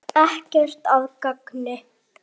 Ekkert að gagni.